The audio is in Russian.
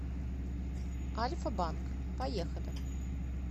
альфа банк поехали